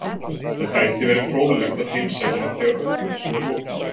Það gæti verið fróðlegt að heimsækja hann þegar öllu þessu er lokið.